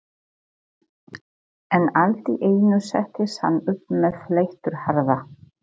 En allt í einu settist hann upp með leifturhraða.